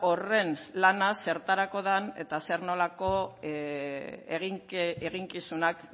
horren lana zertarako den eta zer nolako eginkizunak